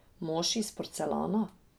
Mož iz porcelana?